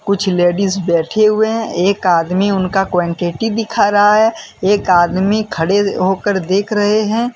कुछ लेडिस बैठे हुए हैं एक आदमी उनका क्वांटिटी दिखा रहा है एक आदमी खड़े होकर देख रहे हैं।